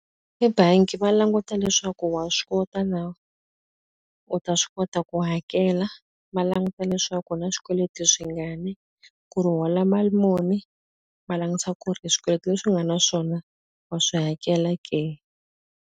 Ebangi va languta leswaku wa swi kota na? U ta swi kota ku hakela. Va languta leswaku u na swikweleti swingani, ku ri u hola mali muni. Va langutisa ku ri swikweleti leswi u nga na swona wa swi hakela ke?